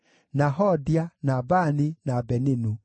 na Hodia, na Bani, na Beninu.